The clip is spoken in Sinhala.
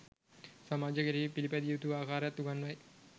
සමාජය කෙරෙහි පිළිපැදිය යුතු ආකාරයත් උගන්වයි